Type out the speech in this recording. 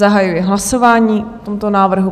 Zahajuji hlasování o tomto návrhu.